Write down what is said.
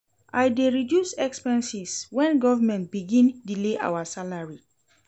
I dey reduce expenses wen government begin delay our salary